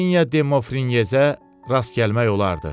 Hersoginya Demofrineyzə rast gəlmək olardı.